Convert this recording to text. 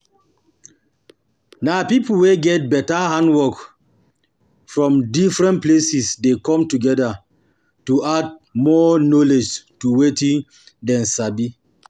Na pipo wey get better handwork from different places de come together to add more knowlwdge to wetin dem sabi